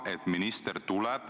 Hea minister!